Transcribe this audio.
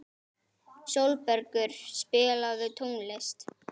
Sólbergur, spilaðu tónlist.